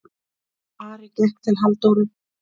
Ari gekk til Halldóru.